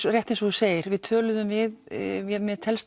rétt eins og þú segir við töluðum við mér telst